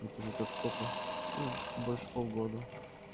тут уже как сколько ну больше полгода